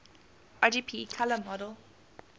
rgb color model